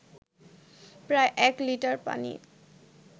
প্রায় এক লিটার পানি